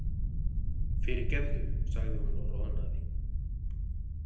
Fyrirgefðu, sagði hún og roðnaði.